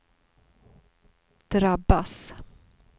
drabbas